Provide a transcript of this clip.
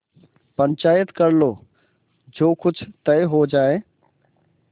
पंचायत कर लो जो कुछ तय हो जाय